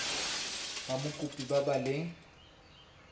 ba mokopi ba ba leng